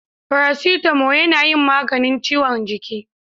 Farasitamo na yin maganin ciwon jiki